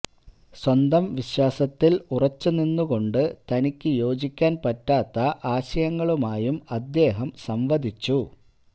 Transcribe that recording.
സ്വന്തം വിശ്വാസത്തില് ഉറച്ചു നിന്നുകൊണ്ട് തനിക്കു യോജിക്കാന് പറ്റാത്ത ആശയങ്ങളുമായും അദ്ദേഹം സംവദിച്ചു